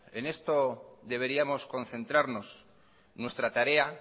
en esto deberíamos concentrarnos nuestra tarea